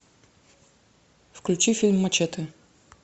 включи фильм мачете